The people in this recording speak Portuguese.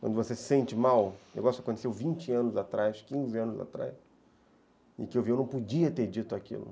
quando você se sente mal, o negócio aconteceu vinte anos atrás, quinze anos atrás, e que eu não podia ter dito aquilo.